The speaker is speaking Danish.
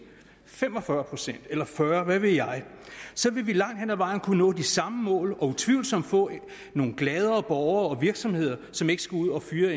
fem og fyrre procent eller fyrre pct hvad ved jeg så ville vi langt hen ad vejen kunne nå de samme mål og utvivlsomt få nogle gladere borgere og nogle virksomheder som ikke skulle ud at fyre